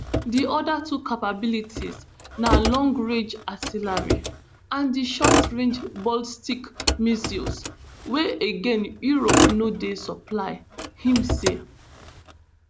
di oda two capabilities na long rage artillery and di short range ballstic missiles wey again europe no dey supply im say